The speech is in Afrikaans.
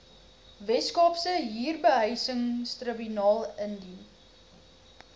weskaapse huurbehuisingstribunaal indien